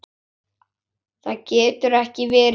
Það getur ekki verið rétt.